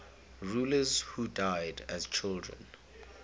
rulers who died as children